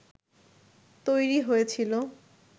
তৈরি হয়েছিল